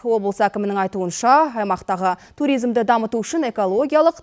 облыс әкімінің айтуынша аймақтағы туризмді дамыту үшін экологиялық